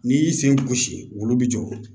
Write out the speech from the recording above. N'i y'i sen gosi olu bi jɔ